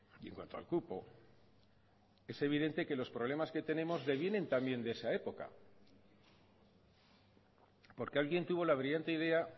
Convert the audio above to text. y en cuanto al cupo es evidente que los problemas que tenemos devienen también de esa época porque alguien tuvo la brillante idea